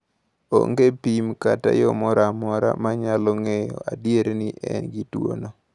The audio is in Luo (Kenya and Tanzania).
Onge pim kata yo moro amora ma nyalo ng’eyo adier ni en gi tuwono.